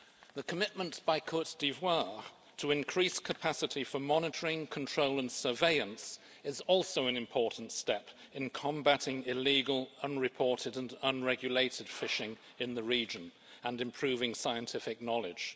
The commitment by Côte d'Ivoire to increase capacity for monitoring, control and surveillance is also an important step in combating illegal unreported and unregulated fishing in the region and improving scientific knowledge.